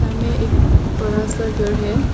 एक बड़ा सा घर है।